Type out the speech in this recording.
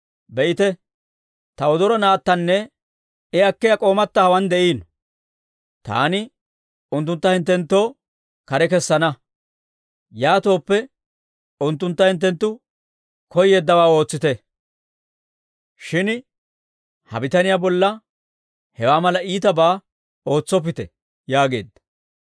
Be'ite, ta wodoro naattanne I akkiyaa k'oomatta hawaan de'iino. Taani unttuntta hinttenttoo kare kessana; yaatooppe unttuntta hinttenttu koyeeddawaa ootsite; shin ha bitaniyaa bolla hewaa mala iitabaa ootsoppite» yaageedda.